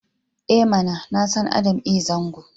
I mana! Na san Adam A Zango.